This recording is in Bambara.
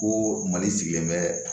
Ko mali sigilen bɛ